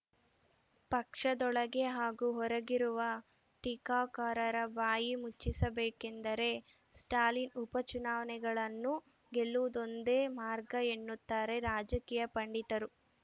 ಪಕ್ಷದೊಳಗೆ ಹಾಗೂ ಹೊರಗಿರುವ ಟೀಕಾಕಾರರ ಬಾಯಿ ಮುಚ್ಚಿಸಬೇಕೆಂದರೆ ಸ್ಟಾಲಿನ್‌ ಉಪಚುನಾವಣೆಗಳನ್ನು ಗೆಲ್ಲುವುದೊಂದೇ ಮಾರ್ಗ ಎನ್ನುತ್ತಾರೆ ರಾಜಕೀಯ ಪಂಡಿತರು